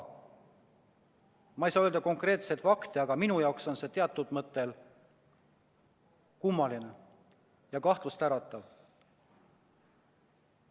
Ma ei saa öelda konkreetseid fakte, aga minu jaoks on see teatud mõttes kummaline ja kahtlustäratav.